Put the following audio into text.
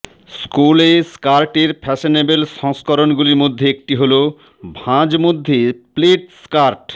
স্কুলে স্কার্টের ফ্যাশনেবল সংস্করণগুলির মধ্যে একটি হল ভাঁজ মধ্যে প্লেড স্কার্ট